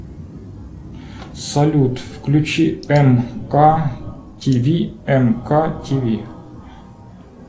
салют включи мктв мктв